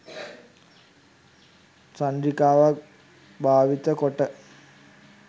චන්ද්‍රිකාවක් භාවිත කොට